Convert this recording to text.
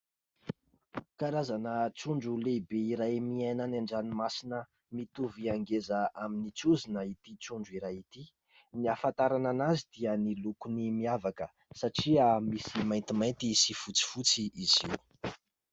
Karazana trondro lehibe iray miaina any an-dranomasina ; mitovy angeza amin'ny trozona ity trondro iray ity. Ny ahafantarana an'azy dia ny lokony miavaka satria misy maintimainty sy fotsifotsy izy io.